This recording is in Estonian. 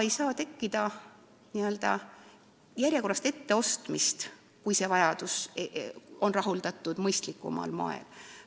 Ei saa tekkida ka n-ö järjekorrast etteostmist, kui vajadus on rahuldatud mõistlikumal moel.